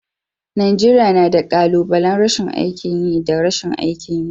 Najeriya na da. kalubalen rashin aikin yi da rashin aikin yi.